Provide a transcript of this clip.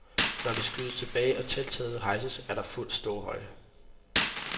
Når det skydes tilbage og telttaget hejses, er der fuld ståhøjde.